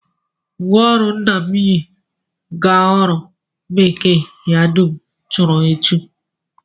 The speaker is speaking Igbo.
Uwe ọrụ nna m yi aga ọrụ bekee ya dum churu echu